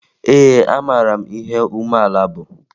Ee, amara m ihe umeala bụ